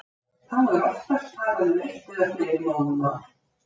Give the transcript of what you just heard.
Þá er oftast talað um eitt eða fleiri móðurmál.